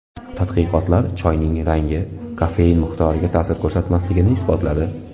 Tadqiqotlar choyning rangi kofein miqdoriga ta’sir ko‘rsatmasligini isbotladi.